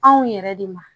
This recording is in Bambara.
Anw yɛrɛ de ma